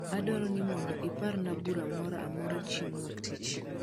adwaro ni mondo oparna bura moro amoro chieng wuok tich